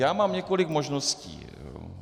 Já mám několik možností.